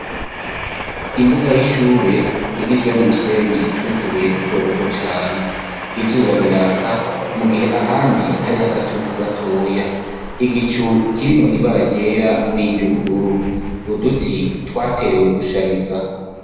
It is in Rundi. Imbuga y'ishuri igizwe n'umusenyi n'utubuye dutoduto cane izuba riraka mu gihe ahandi hari agatutu gatoya igicu kirimwo ibara ryera n'iryubururu uduti twterewe gushariza.